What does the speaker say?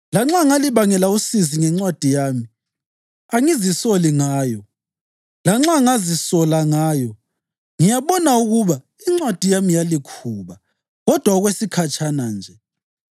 Lanxa ngalibangela usizi ngencwadi yami, angizisoli ngayo. Lanxa ngazisola ngayo, ngiyabona ukuba incwadi yami yalikhuba, kodwa okwesikhatshana nje,